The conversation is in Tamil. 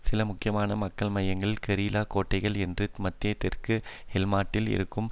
சில முக்கியமான மக்கள் மையங்கள் கெரில்லா கோட்டைகள் என்று மத்திய தெற்கு ஹெல்மாண்டில் இருக்கும்